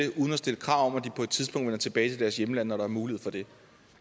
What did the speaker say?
at stille krav om at de på et tidspunkt vender tilbage til deres hjemlande når der er mulighed for det